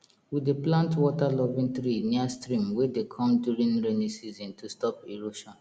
we dey plant waterloving tree near stream wey dey come during rainy season to stop erosion